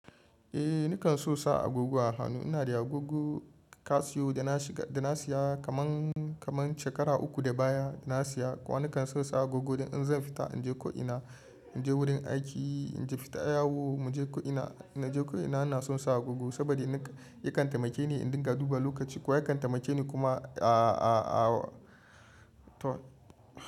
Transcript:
Eh nikan so sa agogo a hannu. Ina da agogo kasiyo da na shiga, da na siya kaman, kaman shekara uku da baya da na siya. Kowa nikan so sa agogo idan zan fita, in je ko ina, in je wurin aiki, in je fita yawo, mu je ko ina, ina je ko ina ina son sa agogo saboda yana, yakan taimake ni in dinga duba lokaci ko yakan taimake ni kuma to.